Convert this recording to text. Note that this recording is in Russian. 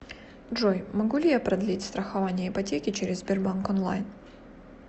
джой могу ли я продлить страхование ипотеки через сбербанк онлайн